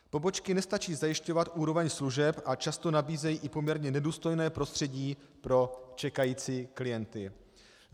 Pobočky nestačí zajišťovat úroveň služeb a často nabízejí i poměrně nedůstojné prostředí pro čekající klienty.